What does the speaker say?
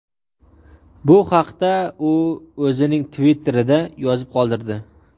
Bu haqda u o‘zining Twitter’ida yozib qoldirdi .